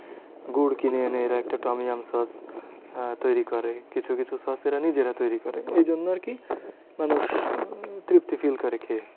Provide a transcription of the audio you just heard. গুড় কিনে এনে এরা একটা তমিয়াম সস আহ তৈরী করে। কিছু কিছু সস এরা নিজেরা তৈরী করে। এই জন্য আরকি মানুষ উম তৃপ্তি feel করে খেয়ে।